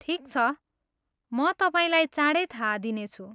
ठिक छ, म तपाईँलाई चाँडै थाहा दिनेछु।